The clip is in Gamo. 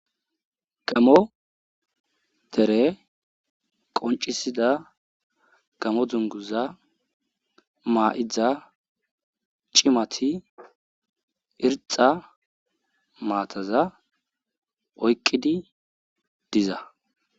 Gamo dere qonccisiza gamo dungguza ma'ida cimati irxxa mmataza oyqqidi diza